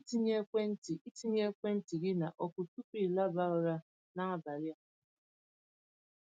Cheta ịtinye ekwentị ịtinye ekwentị gị na ọkụ tupu i laba ụra n'abalị a.